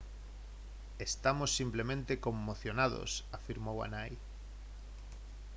«estamos simplemente conmocionados» afirmou a nai